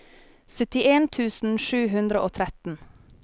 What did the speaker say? syttien tusen sju hundre og tretten